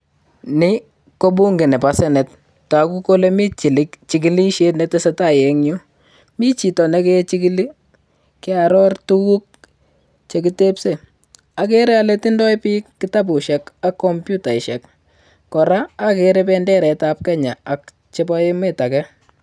Nii kobunge nebosenate ttoku kole mii chkilishet netesetai en yuu michito nekechikili keoror tukul chekitepsen okere ole tindo biik kitabushek ak computaishek koraa okere penderet ab kenya ak chepo emet agee.